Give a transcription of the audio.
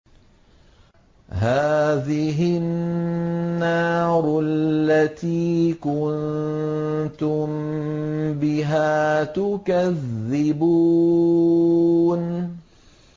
هَٰذِهِ النَّارُ الَّتِي كُنتُم بِهَا تُكَذِّبُونَ